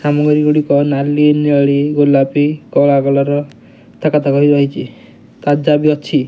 ଗୁଡିକ ନାଲି ନେଳି ଗୋଲାପି କଳା କଲର ଥାକ ଥାକ ହୋଇ ରହିଚି ତାଜା ବି ଅଛି।